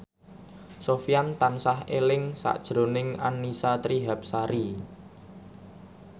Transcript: Sofyan tansah eling sakjroning Annisa Trihapsari